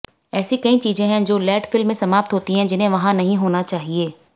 ऐसी कई चीजें हैं जो लैंडफिल में समाप्त होती हैं जिन्हें वहां नहीं होना चाहिए